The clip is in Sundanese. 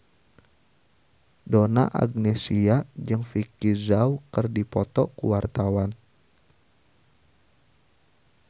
Donna Agnesia jeung Vicki Zao keur dipoto ku wartawan